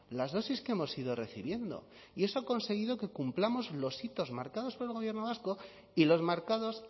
las dosis que hemos ido recibiendo y eso ha conseguido que cumplamos los hitos marcados por el gobierno vasco y los marcados